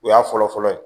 O y'a fɔlɔfɔlɔ ye